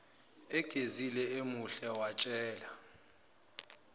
egezile emuhle watshela